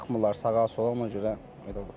Baxmırlar sağa, sola ona görə elə olur.